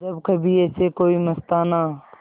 जब कभी ऐसे कोई मस्ताना